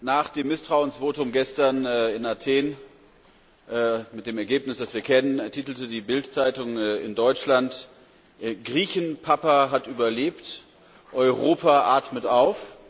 Nach dem Misstrauensvotum gestern in Athen mit dem Ergebnis, das wir kennen, titelte die Bildzeitung in Deutschland Griechenpapa hat überlebt Europa atmet auf.